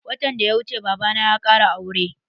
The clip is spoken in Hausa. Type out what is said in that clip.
Watan da ya wuce babana ya ƙara aure.